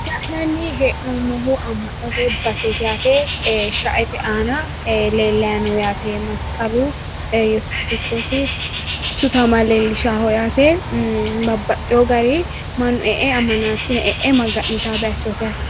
La'nanni hee'noommohu amma'note baseeti yaate sha"ete aana leellayi no yaate masqalu iyyesuusi kiristoosi sutama leellishawooho yaate babbaxxeyo gari mannu e"e ammanaasine e'e maga'nitaawo bayiichooti yaate.